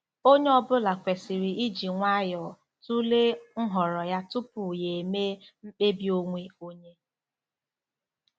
Onye ọ bụla kwesịrị iji nwayọọ tụlee nhọrọ ya tupu ya emee mkpebi onwe onye.